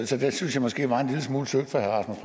så det synes jeg måske var en lille smule tyndt fra herre